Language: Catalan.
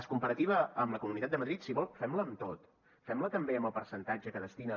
la comparativa amb la comunitat de madrid si vol fem la amb tot fem la també amb el percentatge que destina